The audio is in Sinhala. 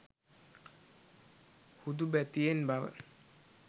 හුදුබැතියෙන් බව